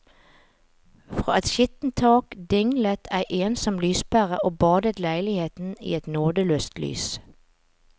Fra et skittent tak dinglet ei ensom lyspære og badet leiligheten i et nådeløst lys.